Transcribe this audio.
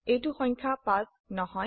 এইটো সংখ্যা 5 নহয়